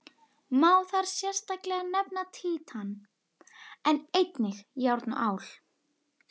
Má þar sérstaklega nefna títan, en einnig járn og ál.